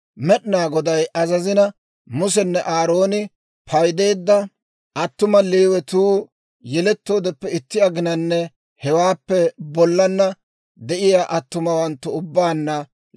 Med'inaa Goday azazina, Musenne Aarooni paydeedda attuma Leewatuu, yelettoodeppe itti aginanne hewaappe bollana de'iyaa attumawanttu ubbaanna 22,000.